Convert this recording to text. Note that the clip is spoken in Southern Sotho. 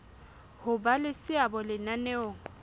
ho ba le seabo lenaneong